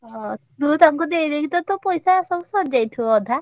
ଅ! ତୁ ତାଙ୍କୁ ଦେଇଦେଇକି ତ ତୋ ପଇସା ସବୁ ସରିଯାଇଥିବ ଅଧା।